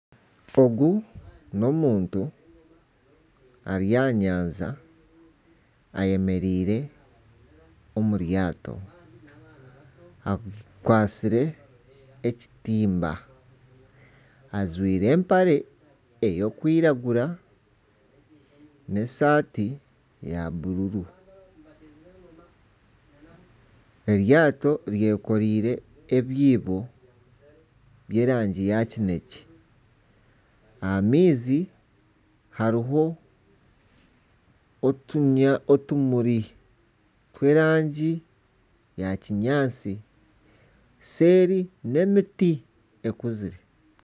Ogu n'omuntu ari aha nyanja ayemereire omu ryaato. Akwatsire ekitimba, ajwire empare erikwiragura n'esati ya bururu. Eryaato ryekoreire ebyiibo by'erangi ya kinekye. Aha maizi hariho otumuri tw'erangi ya kinyaatsi. Seeri n'emiti ekuzire.